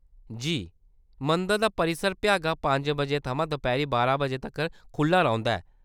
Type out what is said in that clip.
जी। मंदर दा परिसर भ्यागा पंज बजे थमां दपैह्‌‌री बारां बजे तक्कर खुʼल्ला रौंह्‌‌‌दा ऐ।